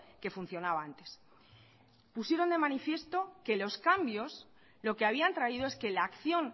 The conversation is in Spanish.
que funcionaba antes pusieron de manifiesto que los cambios lo que habían traído es que la acción